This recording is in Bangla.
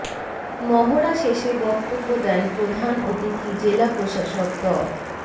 মহড়া শেষে বক্তব্য দেন প্রধান অতিথি জেলা প্রশাসক ড